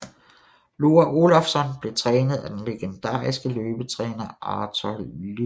Loa Olafsson blev trænet af den legendariske løbetræner Arthur Lydiard